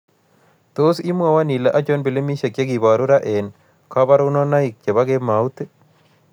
Tos' imwawon ile achon pilimisiek chegiboruu raa eng' kaborunoik che po kemout ii